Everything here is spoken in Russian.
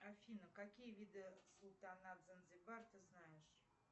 афина какие виды султанат занзибар ты знаешь